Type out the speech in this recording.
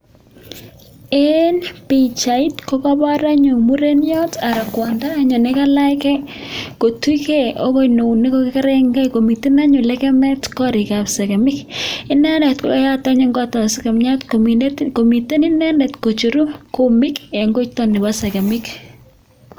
En bichait kokabar anyun mureniat anan kwondo anyun nekalach gei kotuch gei agoi neunek akokeregei komiten anyun legemet korik ab segemik inendet koyeyat anyun kotab sekemiat komiten inendet koicheru kumik en koiton Nebo segemik